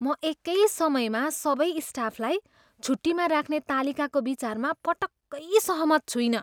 म एकै समयमा सबै स्टाफलाई छुट्टीमा राख्ने तालिकाको विचारमा पटक्कै सहमत छुइनँ।